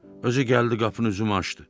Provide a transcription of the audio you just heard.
Özü gəldi qapının üzümü açdı.